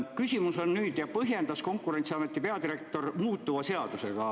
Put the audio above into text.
Konkurentsiameti peadirektor põhjendas seda muutuva seadusega.